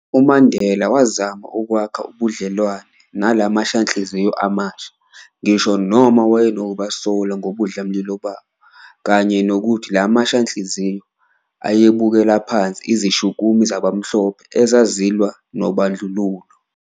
UMandela wazama ukwakha ubudlelwane na la mashanhliziyo amasha, ngisho noma wayenokubasola ngobudlamlilo babo, kanye nokuthi la mashanhliziyo ayebukela phansi izishukumi zabamhlophe ezazilwa nobandlululo.